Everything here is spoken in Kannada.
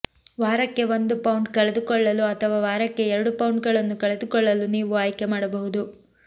ವಾರಕ್ಕೆ ಒಂದು ಪೌಂಡ್ ಕಳೆದುಕೊಳ್ಳಲು ಅಥವಾ ವಾರಕ್ಕೆ ಎರಡು ಪೌಂಡ್ಗಳನ್ನು ಕಳೆದುಕೊಳ್ಳಲು ನೀವು ಆಯ್ಕೆ ಮಾಡಬಹುದು